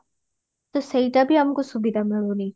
ତ ସେଇଟା ବି ଆମକୁ ସୁବିଧା ମିଳୁନି